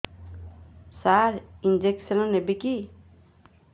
ସାର injection ନେବିକି